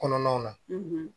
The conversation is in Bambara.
Kɔnɔnaw na